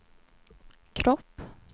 kropp